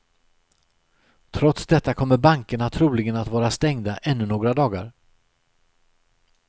Trots detta kommer bankerna troligen att vara stängda ännu några dagar.